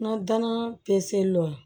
N ka danaya seli lɔn